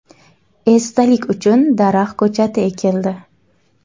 Esdalik uchun daraxt ko‘chati ekildi.